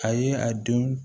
A ye a dun